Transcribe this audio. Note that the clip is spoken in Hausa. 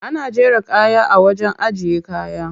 Ana jera kaya a wajen ajiye kaya.